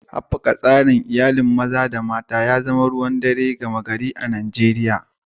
Haɓaka tsarin iyali, gami da ƴan uwa maza da mata, na zama ruwan dare gama gari a Najeriya.